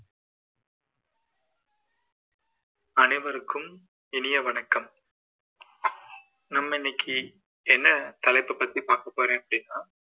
அனைவருக்கும் இனிய வணக்கம் நம்ம இன்னைக்கு என்ன தலைப்பை பத்தி பாக்கப்போறேன் அப்படீன்னா